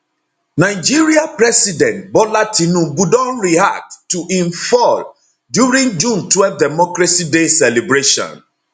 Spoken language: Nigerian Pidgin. nigeria president bola tinubu don react to im fall during june twelve democracy day celebration